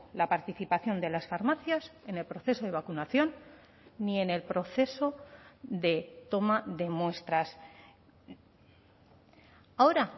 la participación de las farmacias en el proceso de vacunación ni en el proceso de toma de muestras ahora